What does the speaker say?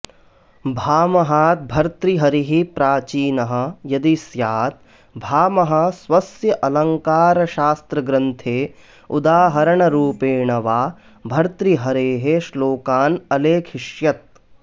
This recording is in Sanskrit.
भामहात् भर्तृहरिः प्राचीनः यदि स्यात् भामहः स्वस्य अलङ्कारशास्त्रग्रन्थे उदाहरणरूपेण वा भर्तृहरेः श्लोकान् अलेखिष्यत्